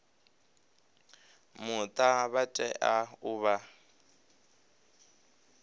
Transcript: muta vha tea u vha